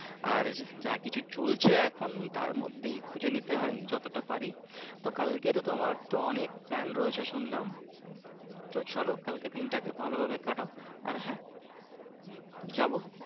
আর যা কিছু চলছে এখন তার মধ্যেই খোঁজে নিতে হয় যতটা পারি, তো কালকে থেকে তো তোমার তো অনেক plane রয়েছে শুনলাম । তো চলো কালকে দিন টাকে ভালোভাবে কাটাও যাবো